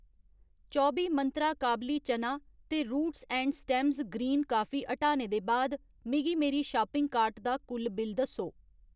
चौबी मंत्रा काबली चना ते रूट्स ऐंड स्टेम्स ग्रीन काफी हटाने दे बाद मिगी मेरी शापिंग कार्ट दा कुल बिल दस्सो